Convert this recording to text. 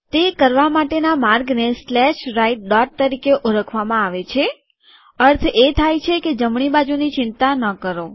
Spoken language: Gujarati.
તે કરવા માટેના માર્ગને સ્લેશ રાઈટ ડોટ તરીકે ઓળખવામાં આવે છે અર્થ એ થાય કે જમણી બાજુની ચિંતા ન કરો